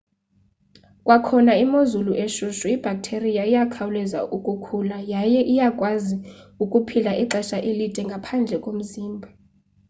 kwakhona kwimozulu eshushu ibhaktheriya iyakhawuleza ukukhula yaye iyakwazi ukuphila ixesha elide ngaphandle komzimba